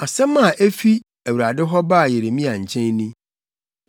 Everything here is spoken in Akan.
Asɛm a efi Awurade hɔ baa Yeremia nkyɛn ni: